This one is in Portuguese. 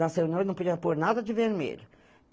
Nas reunião, eu não podia pôr nada de vermelho.